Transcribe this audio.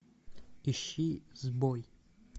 ищи сбой